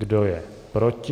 Kdo je proti?